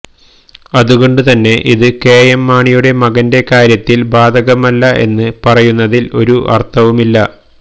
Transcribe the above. അതുകൊണ്ട് തന്നെ ഇത് കെഎം മാണിയുട മകന്റെ കാര്യത്തിൽ ബാധകമല്ല എന്ന് പറയുന്നതിൽ ഒരു അർത്ഥവും ഇല്ല